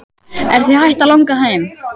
Er þig hætt að langa heim?